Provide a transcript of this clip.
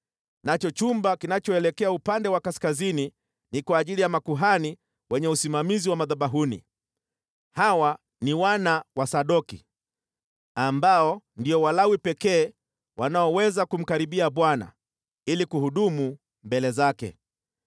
nacho chumba kinachoelekea upande wa kaskazini ni kwa ajili ya makuhani wenye usimamizi wa madhabahuni. Hawa ni wana wa Sadoki, ambao ndio Walawi pekee wanaoweza kumkaribia Bwana ili kuhudumu mbele zake.”